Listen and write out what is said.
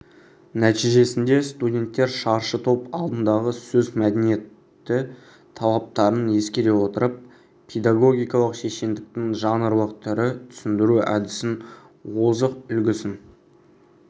нәтижесінде студенттер шаршы топ алдындағы сөз мәдениеті талаптарын ескере отырып педагогикалық шешендіктің жанрлық түрі түсіндіру әдісінің озық үлгісін